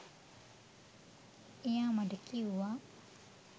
එයා මට කිව්වා